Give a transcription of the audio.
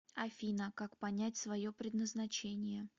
афина как понять свое предназначение